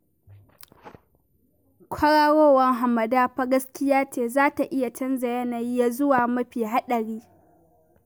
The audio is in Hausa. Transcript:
Kwararowar hamada fa gaskiya ce, za ta iya canza yanayi ya zuwa mafi haɗari